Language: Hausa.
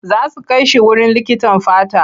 Za su kai shi wurin likitan fata.